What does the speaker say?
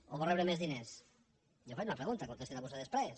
o vol rebre més diners jo faig una pregunta contesti la vostè després